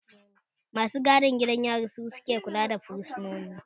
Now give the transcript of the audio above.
Masu gadin gidan yari su ke kula da fursunoni